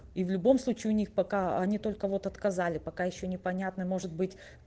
и в любом случае у них пока они только вот отказали пока ещё непонятно может быть